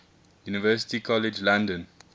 university college london